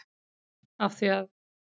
Af því að?